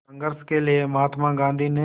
संघर्ष के लिए महात्मा गांधी ने